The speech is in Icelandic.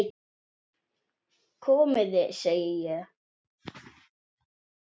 Og hvað tekur nú við?